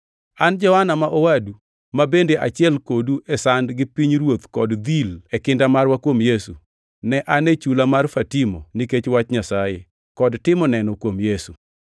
An Johana ma owadu, ma bende achiel kodu e sand gi pinyruoth kod dhil e kinda marwa kuom Yesu, ne an e chula mar Fatimo nikech wach Nyasaye, kod timo neno kuom Yesu.